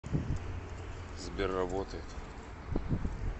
сбер работает